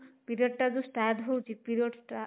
period ଟା ଯୋଉ start ହଉଚି period ଟା